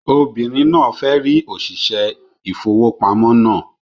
Obìnrin náà fẹ́ rí òṣìṣẹ́ ìfowópamọ́ náà